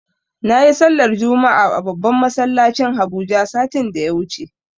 Nayi sallar juma'a a babban masallacin habuja satin da ya wuce